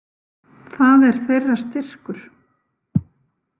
Það er þeirra styrkur.